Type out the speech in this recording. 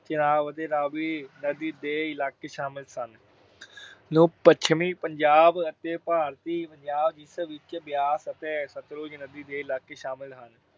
ਚਿਨਾਬ ਅਤੇ ਰਾਵੀ ਨਦੀ ਦੇ ਇਲਾਕੇ ਸ਼ਾਮਲ ਸਨ, ਨੂੰ ਪੱਛਮੀ ਪੰਜਾਬ ਅਤੇ ਭਾਰਤੀ ਪੰਜਾਬ ਜਿਸ ਵਿਚ ਬਿਆਸ ਅਤੇ ਸਤਲੁਜ ਨਦੀ ਦੇ ਇਲਾਕੇ ਸ਼ਾਮਲ ਹਨ,